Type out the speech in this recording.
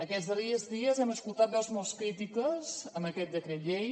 aquests darrers dies hem escoltat veus molt crítiques amb aquest decret llei